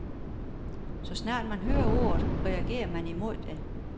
Så snart man hører ordet, reagerer man imod det.